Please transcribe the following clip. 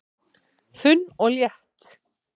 Þunn og létt